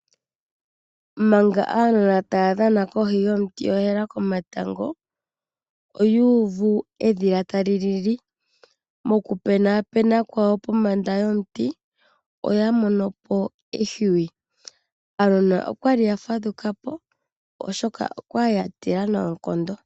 Manga aanona taya dhana kohi yomutu ohela komatango, oyuuvu edhila tali lili. Moku penapena kwawo pombanda yomuti oya monopo ehwiyu, aanona oyali ya fadhukapo oshoka oyali ya tila noonkondo.